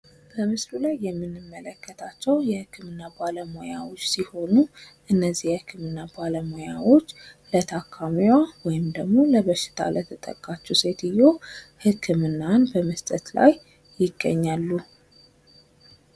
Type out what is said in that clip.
በምስሉ ላይ የምንመለከታቸው የህክምና ባለሙያዎች ሲሆኑ እነዚህ የህክምና ባለሙያዎች ለታካሚዋ ወይም ለበሽታ ለተጠቃችሁ ሴትየዋ ህክምናን በመስጠት ላይ ይገኛሉ።